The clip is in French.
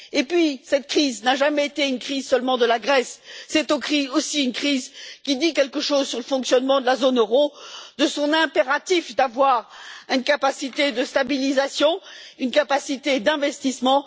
Et puis, cette crise n'a jamais été une crise seulement de la Grèce, c'est aussi une crise qui dit quelque chose sur le fonctionnement de la zone euro, sur la nécessité d'avoir une capacité de stabilisation, une capacité d'investissement.